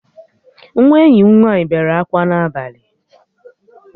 Nwa enyi m nwaanyị bere akwa n'abalị